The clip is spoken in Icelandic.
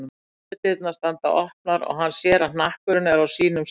Skemmudyrnar standa opnar og hann sér að hnakkurinn er ekki á sínum stað.